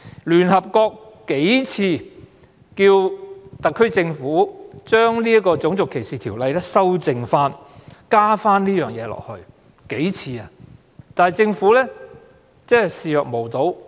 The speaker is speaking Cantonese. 聯合國曾數次要求特區政府加入這項條文，以修正《種族歧視條例》，但政府置若罔聞。